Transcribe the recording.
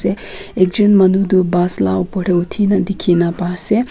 ekjon manu toh bus la ka opor tey hudi kena dikey kena pai ase.